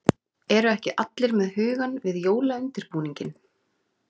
Eru ekki allir með hugann við jólaundirbúninginn?